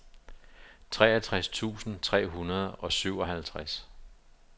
treogtres tusind tre hundrede og syvoghalvtreds